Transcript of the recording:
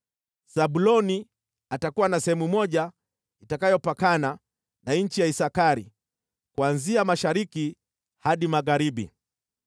“Zabuloni atakuwa na sehemu moja, itakayopakana na nchi ya Isakari kuanzia mashariki hadi magharibi.